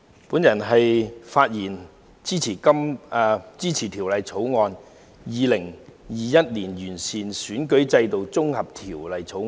代理主席，我發言支持《2021年完善選舉制度條例草案》。